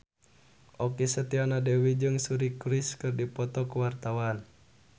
Okky Setiana Dewi jeung Suri Cruise keur dipoto ku wartawan